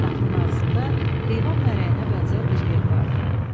Qapının ağzında heyvan mərəyinə bənzər bir yer vardı.